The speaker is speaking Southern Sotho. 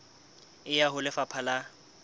e ya ho lefapha la